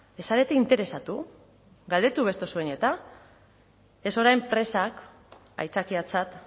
ez zarete interesatu galdetu ez orain presak aitzakiatzat